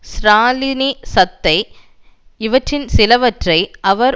ஸ்ராலினி சத்தை இவற்றில் சிலவற்றை அவர்